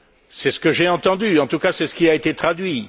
C'est ce que j'ai entendu, en tout cas c'est ce qui a été traduit.